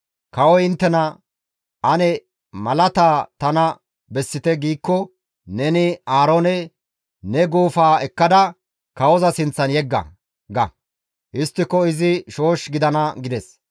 «Kawoy inttena, ‹Ane malaata tana bessite› giikko neni Aaroone, ‹Ne guufaa ekkada kawoza sinththan yegga› ga; histtiko izi shoosh gidana» gides.